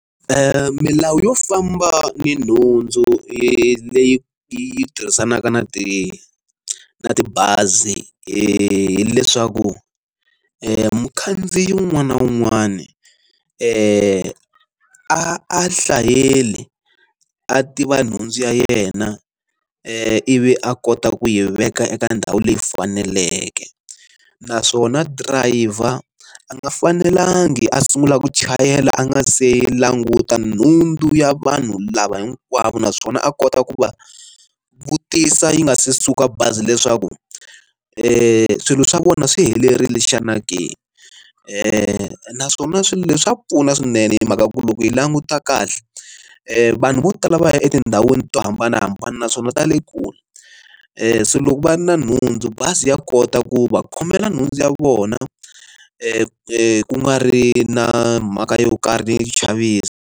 Milawu yo famba ni nhundzu leyi yi tirhisanaka na ti na tibazi hileswaku mukhandziyi un'wana na un'wana i a hlaseli a tiva nhundzu ya yena ivi a kota ku yi veka eka ndhawu leyi faneleke naswona driver a nga fanelangi a sungula ku chayela a nga se languta nhundzu ya vanhu lava ku hava naswona a kota ku va vutisa yi nga se suka bazi leswaku i swilo swa vona swi helerile xana ke naswona swilo leswi swa pfuna swinene hi mhaka ku loko hi languta kahle vanhu vo tala va ya etindhawini to hambanahambana naswona ta le kule loko va ri na nhundzu bazi ya kota ku va khomela nhundzu ya vona ku nga ri na mhaka yo karhi ni chavisa.